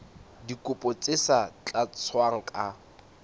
dikopo tse sa tlatswang ka